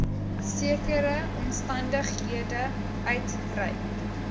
sekere omstandighede uitreik